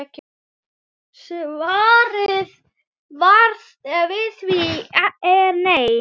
Svarið við því er nei.